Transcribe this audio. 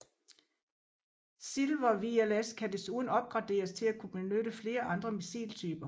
SYLVER VLS kan desuden opgraderes til at kunne benytte flere andre missiltyper